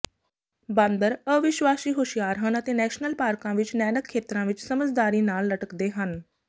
ਬਾਂਦਰ ਅਵਿਸ਼ਵਾਸੀ ਹੁਸ਼ਿਆਰ ਹਨ ਅਤੇ ਨੈਸ਼ਨਲ ਪਾਰਕਾਂ ਵਿੱਚ ਨੈਨਕ ਖੇਤਰਾਂ ਵਿੱਚ ਸਮਝਦਾਰੀ ਨਾਲ ਲਟਕਦੇ ਹਨ